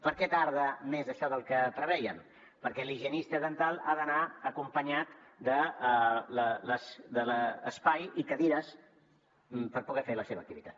per què tarda més això del que prevèiem perquè l’higienista dental ha d’anar acompanyat de l’espai i cadires per poder fer la seva activitat